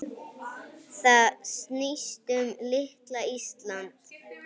Það snýst um litla Ísland.